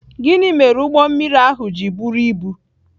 Gịnị mere ụgbọ mmiri ahụ ji buru ibu?